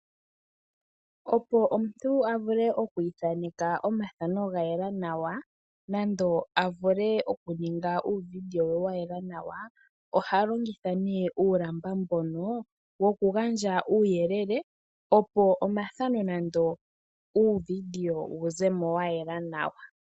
Opo omuntu a vule okwii thaneka omathano ga yela nawa nando a ninge uuvideo we wa yela nawa, oha longitha nee uulamba woku gandja uuyelele opo omathano nando uuvideo wu ze mo wa yela nawa.